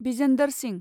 Bhijender Singh